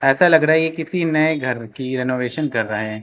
ऐसा लग रहा है ये किसी नए घर की रेनोवेशन कर रहे है।